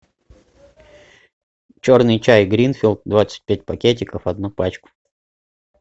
черный чай гринфилд двадцать пять пакетиков одну пачку